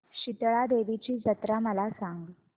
शितळा देवीची जत्रा मला सांग